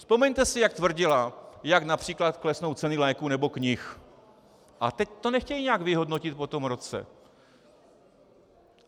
Vzpomeňte si, jak tvrdila, jak například klesnou ceny léků nebo knih, a teď to nechtějí nějak vyhodnotit po tom roce.